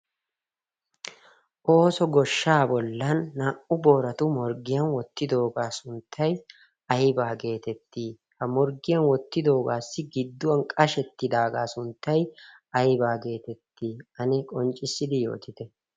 ooso goshshaa bollan naa"u booratu morggiyan wottidoogaa sunttai aibaa geetettii ha morggiyan wottidoogaassi gidduwan qashettidaagaa sunttay aybaa geetettii ane qonccissidi yootite?